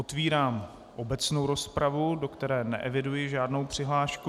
Otvírám obecnou rozpravu, do které neeviduji žádnou přihlášku.